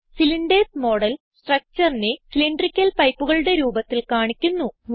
cylinders model structureനെ cylindrical pipeകളുടെ രൂപത്തിൽ കാണിക്കുന്നു